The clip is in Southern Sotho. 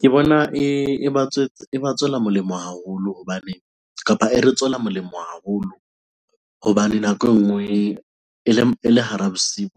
Ke bona e ba tswetse, e ba tswela molemo haholo hobane kapa e re tswela molemo haholo hobane nako e nngwe e le hara bosiu